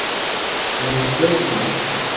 Nú, fleytuna.